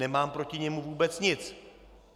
Nemám proti němu vůbec nic.